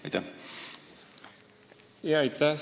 Aitäh!